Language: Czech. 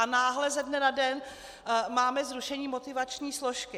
A náhle ze dne na den máme zrušení motivační složky.